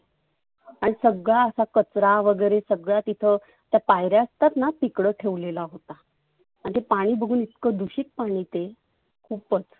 आणि सगळा असा कचरा वगैरे सगळा तिथ त्या पायऱ्या असतातना तिकड ठेवलेला होता. आणि ते पाणि बघुन इतक दुषीत पाणि ते खुपच.